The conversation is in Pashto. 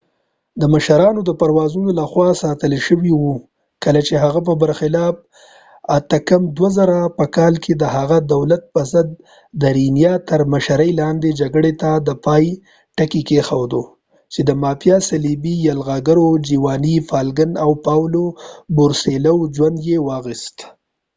د مشرانو د پرووزانو لخوا ساتل شوي و۔ کله چې هغه په برخلاف 1992په کال کې د هغه دولت پر ضد د ریینا تر مشرۍ لاندې جګړې ته د پای ټکی کېښود چې د مافیا صلیبي یرغلګرو جیواني فالکن او پاولو بورسیلوو ژوند یې واخیست۔